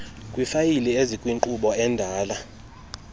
kwiifayile ezikwinkqubo endala